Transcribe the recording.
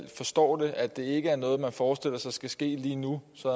forstår det at det ikke er noget man forestiller sig skal ske lige nu så